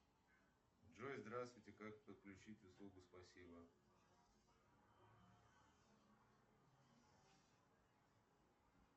джой здравствуйте как подключить услугу спасибо